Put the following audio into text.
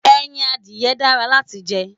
Ẹyin adìye dára láti jẹ.